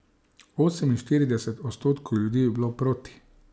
Oseminštirideset odstotkov ljudi je bilo proti ...